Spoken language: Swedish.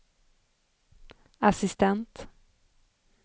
assistent